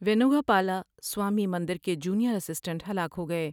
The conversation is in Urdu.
و مینوگا پالاسوامی مندر کے جونیئر اسٹنٹ ہلاک ہو گئے ۔